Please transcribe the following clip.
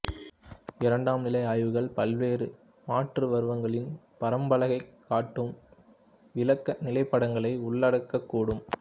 இரண்டாம் நிலை ஆய்வுகள் பல்வேறு மாற்றுருவங்களின் பரம்பலைக் காட்டும் விளக்க நிலப்படங்களை உள்ளடக்கக்கூடும்